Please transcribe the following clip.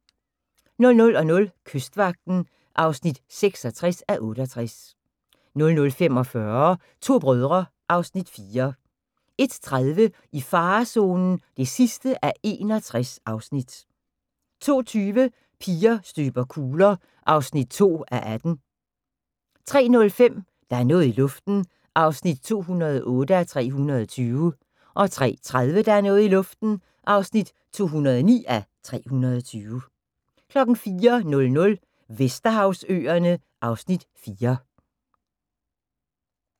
00:00: Kystvagten (66:68) 00:45: To brødre (Afs. 4) 01:30: I farezonen (61:61) 02:20: Piger støber kugler (2:18) 03:05: Der er noget i luften (208:320) 03:30: Der er noget i luften (209:320) 04:00: Vesterhavsøerne (Afs. 4)